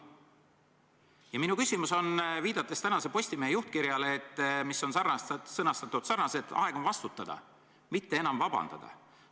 Ja minu küsimus on viitega tänase Postimehe juhtkirjale, mis on sõnastatud selliselt: aeg on vastutada, mitte enam vabandada.